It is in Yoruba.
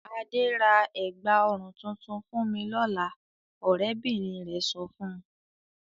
"Adé ra ẹ̀gbá-ọrùn tuntun fún mi lọ́la!" Ọ̀rẹ́bìnrin rẹ̀ sọ fún un.